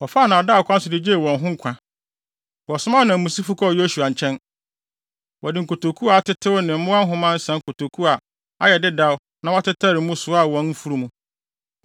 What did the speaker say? wɔfaa nnaadaa kwan so de gyee wɔn ho nkwa. Wɔsomaa ananmusifo kɔɔ Yosua nkyɛn. Wɔde nkotoku a atetew ne mmoa nhoma nsa nkotoku a ayɛ dedaw na wɔatetare mu soaa wɔn mfurum.